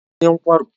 Ọ bụ onye nkwarụ?